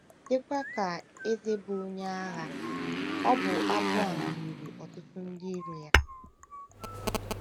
Dịkwa ka eze bụ́ onye agha, ọbụ abụ a meriri ọtụtụ ndị iro ya.